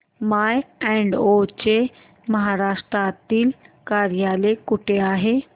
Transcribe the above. माय advo चे महाराष्ट्रातील कार्यालय कुठे आहे